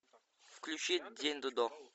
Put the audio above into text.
включи день додо